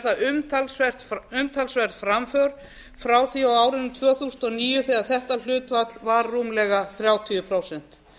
það umtalsverð framför frá því á árunum tvö þúsund og níu þegar þetta hlutfall var rúmlega þrjátíu prósent